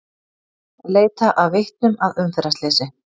Leita að vitnum að umferðarslysi